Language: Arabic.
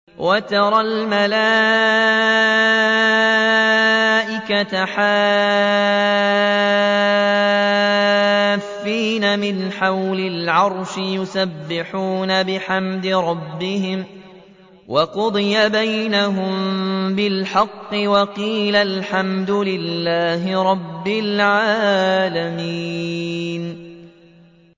وَتَرَى الْمَلَائِكَةَ حَافِّينَ مِنْ حَوْلِ الْعَرْشِ يُسَبِّحُونَ بِحَمْدِ رَبِّهِمْ ۖ وَقُضِيَ بَيْنَهُم بِالْحَقِّ وَقِيلَ الْحَمْدُ لِلَّهِ رَبِّ الْعَالَمِينَ